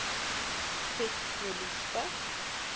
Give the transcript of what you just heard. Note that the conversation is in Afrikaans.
vet olie spek